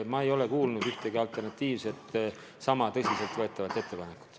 Ma ei ole kuulnud ühtegi sama tõsiselt võetavat alternatiivset ettepanekut.